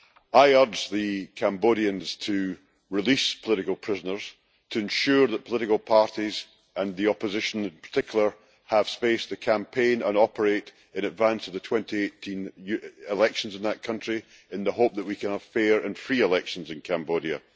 I urge the Cambodians to release political prisoners, to ensure that political parties and the opposition in particular have space to campaign and operate in advance of the 2018 elections in that country, in the hope that we can have fair and free elections in Cambodia.